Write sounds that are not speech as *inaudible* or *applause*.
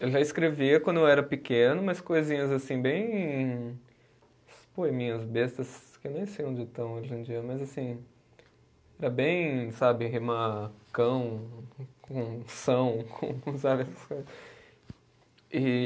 Eu já escrevia quando eu era pequeno, umas coisinhas assim bem, uns poeminhas bestas, que eu nem sei onde estão hoje em dia, mas assim, era bem, sabe, rimar cão com são, *laughs* sabe? *unintelligible* E